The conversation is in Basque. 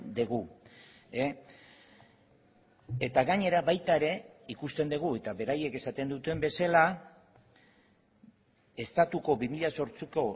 dugu eta gainera baita ere ikusten dugu eta beraiek esaten duten bezala estatuko bi mila zortziko